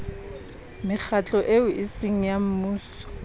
mekgatlo eo eseng ya mmuso